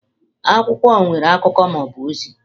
Akwụkwọ nwere akụkọ ma ọ bụ ozi.